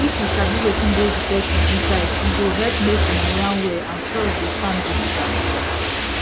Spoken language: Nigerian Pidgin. if you sabi wetin dey the person inside e go helep make una yarn well and trust go stand gidigba